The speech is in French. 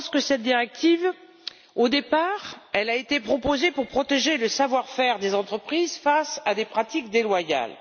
Je pense que cette directive, au départ, a été proposée pour protéger le savoir faire des entreprises face à des pratiques déloyales.